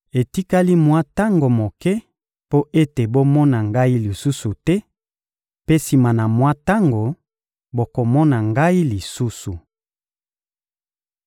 Etikali mwa tango moke mpo ete bomona Ngai lisusu te; mpe sima na mwa tango, bokomona Ngai lisusu.